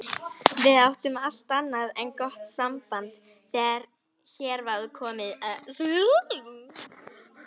Við áttum allt annað en gott samband þegar hér var komið sögu.